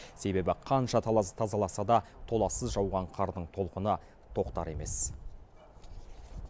себебі қанша тазаласа да толассыз жауған қардың толқыны тоқтар емес